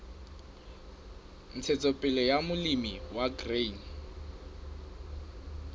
ntshetsopele ya molemi wa grain